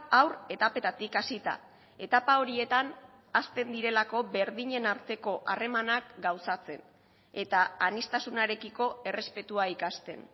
haur etapetatik hasita etapa horietan hazten direlako berdinen arteko harremanak gauzatzen eta aniztasunarekiko errespetua ikasten